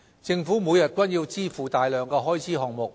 政府每天均要支付大量開支項目。